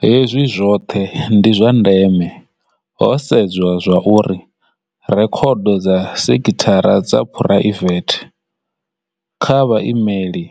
Hezwi zwoṱhe ndi zwa ndeme ho sedzwa zwauri rekhodo dza sekithara dza phuraivethe kha vha imeli